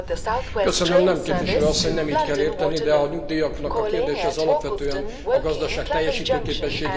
Nem, képviselő asszony, nem így kell érteni, de a nyugdíjaknak a kérdése alapvetően a gazdaság teljesítőképességétől függ.